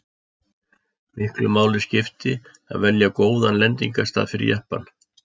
miklu máli skipti að velja góðan lendingarstað fyrir jeppann